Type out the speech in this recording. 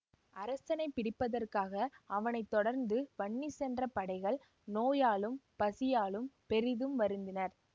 அரசனைப் பிடிப்பதற்காக அவனை தொடர்ந்து வன்னி சென்ற படைகள் நோயாலும் பசியாலும் பெரிதும் வருந்தினர்